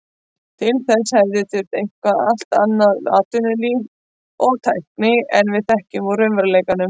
Til þess hefði þurft eitthvert allt annað atvinnulíf og tækni en við þekkjum úr raunveruleikanum.